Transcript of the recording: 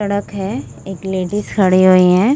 सड़क है। एक लेडीज खड़ी हुई है।